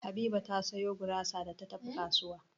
Habiba ta sayo gurasa da ta tafi kasuwa.